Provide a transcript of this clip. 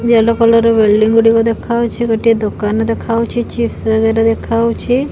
Yellow colour ର building ଗୁଡ଼ିକ ଦେଖାଉଛି ଗୋଟେ ଦୋକାନ ଦେଖାଉଛି ଚିପ୍ସ ବାଗେରା ଦେଖାଉଛି।